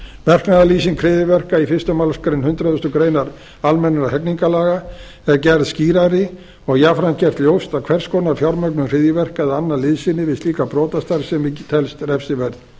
verknaðarlýsing hryðjuverka í fyrstu málsgrein hundrað greinar almennra hegningarlaga er gerð skýrari og jafnframt gert ljóst að hvers konar fjármögnun hryðjuverka eða annað liðsinni við slíka brotastarfsemi telst refsiverð